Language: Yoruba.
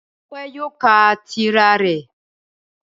Ọpẹ́ yóò ka tírà rẹ̀ m